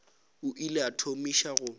o ile a thomiša go